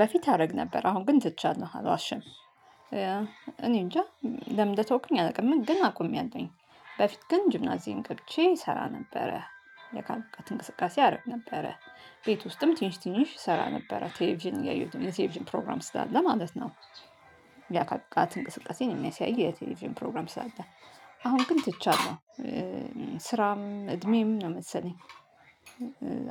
በፊት አደረግ ነበር አሁን ግን ትቻለህ አልዋሽም። እኔ እንጃ ለምን ልተውክልኝ አላውቅም። ግን አቆሚያለሁኝ በፊት ግን ጅምናዚዬን ገብቼ እሰራ ነበረ የአካል ብቃት እንቅስቃሴ አረግ ነበረ። ቤት ውስጥም ትንሽ ትንሽ እሰራ ነበረ ቴሌቪዥን ያየሁትን የቴሌቪዥን ፕሮግራም ስላለ ማለት ነው። የአካል እንቅስቃሴን የሚያሳይ የቴሌቪዥን ፕሮግራም ስላለ አሁን ግን ትቻለሁ። ስራም እድሜም ነው መሰለኝ።